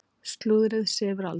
Slúðrið sefur aldrei.